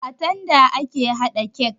A tanda ake haɗa kek